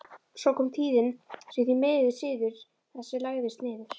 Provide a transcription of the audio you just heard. Svo kom tíðin sem því miður siður þessi lagðist niður.